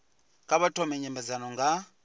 kha vha thome nymbedzano nga